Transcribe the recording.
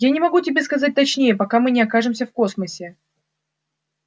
я не могу тебе сказать точнее пока мы не окажемся в космосе